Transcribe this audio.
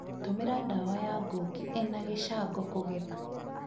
Tũmira dawa ya ngũngi ĩna gicango, kũgetha